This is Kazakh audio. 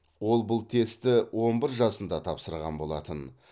ол бұл тестті он бір жасында тапсырған болатын